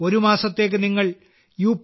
ഒരു മാസത്തേക്ക് നിങ്ങൾ യു